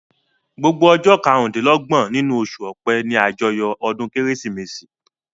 Gbogbo ọjọ́ karùn-dín-lọ́gbọ̀n nínú oṣù ọpẹ́ ní àjọyọ̀ ọdún kérésìmesì